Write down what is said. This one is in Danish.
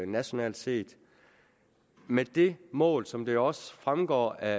nationalt set med det mål som det jo også fremgår af